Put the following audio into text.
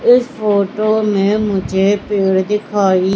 इस फोटो में मुझे पेड़ दिखाई--